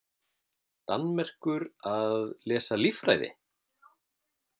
Danmerkur að lesa líffræði?